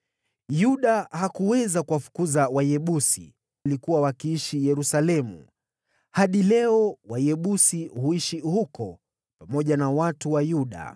Yuda hakuweza kuwafukuza Wayebusi, waliokuwa wakiishi Yerusalemu; hadi leo Wayebusi huishi huko pamoja na watu wa Yuda.